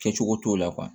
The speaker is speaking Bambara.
Kɛcogo t'o la